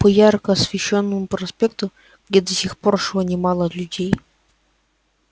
по ярко освещённому проспекту где до сих пор шло немало людей